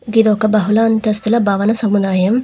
గిదొక బహుళ అంతస్తుల భవన సముదాయం.